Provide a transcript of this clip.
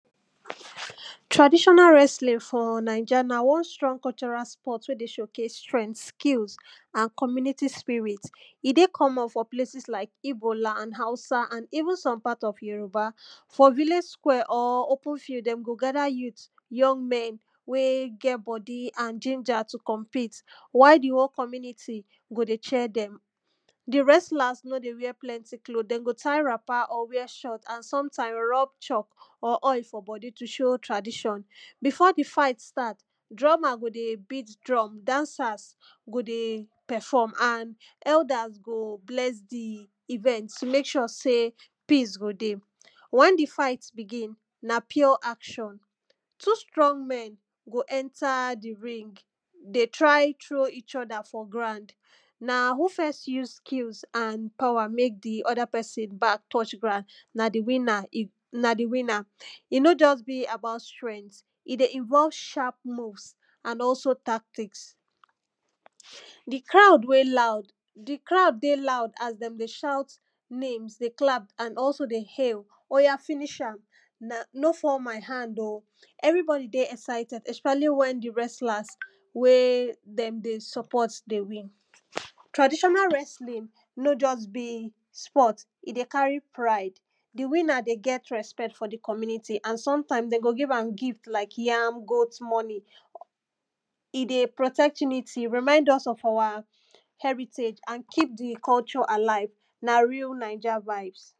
Traditional wrestling for naija na one strong cultural sport wey dey showcase strength, skill and community spirit. E dey common for places like Ibo land, Hausa even some part of Yoruba. For village square or open field dem go gather youth, young men wey get body and ginja to compete while di whole community go dey cheer dem. Di wrestlers no dey wear plenty cloth, dem go tie wrapper or wear short and sometime rub chalk or oil for body to show tradition. Before di fight start drummer go dey best drum, dancers go dey perform and elders go bless di event to mek sure sey peace go dey. Once di fight begin na pure action, two strong men go enter di ring, dey try throw each other for ground na who first use skills and power mek di other person back touch ground na di winner, na di winner, e no just be about strength, e dey involve sharp moves and also tactics. Di crowd wey loud, di crowd dey loud as dem dey shout names, dey clap and also dey hail oya finish am, no fall my hand o. Everybody dey excited especially when di wrestler wey dem dey support dey win. Traditional wrestling no just be sport, e dey carry pride. Di winner dey get respect for di community and sometimes dey go give am gift like yam, goat, money. E dey protect unity, remind us of our heritage and keep di culture alive. Na real naija vibes.